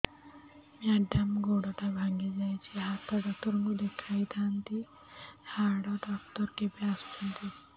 madam ଗୋଡ ଟା ଭାଙ୍ଗି ଯାଇଛି ହାଡ ଡକ୍ଟର ଙ୍କୁ ଦେଖାଇ ଥାଆନ୍ତି ହାଡ ଡକ୍ଟର କେବେ ଆସୁଛନ୍ତି